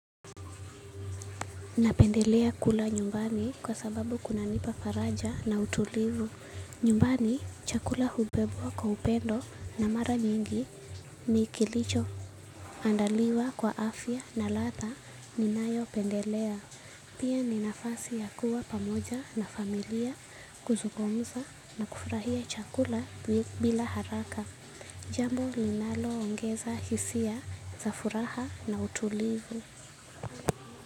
Napendelea kula nyumbani kwa sababu kunanipa faraja na utulivu. Nyumbani chakula hubebwa kwa upendo na mara mingi andaliwa kwa afya na ladha ninayopendelea. Pia ninapata nafasi ya kuwa pamoja na familia, kuzungumza na kufurahia chakula bila haraka. Jambo ninaloongeza hisia za furaha na utulivu.